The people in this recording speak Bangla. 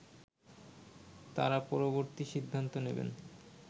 তারা পরবর্তী সিদ্ধান্ত নেবেন